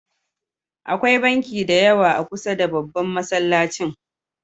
Akwai banki da yawa a kusar da babban Masallacin.